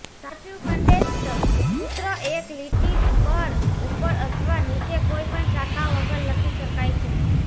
સાચું કન્ડેન્સ્ડ સૂત્ર એક લીટી પર ઉપર અથવા નીચે કોઇપણ શાખા વગર લખી શકાય છે